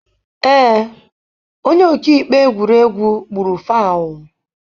Ee, onye ọka ikpe egwuregwu gburu fauu.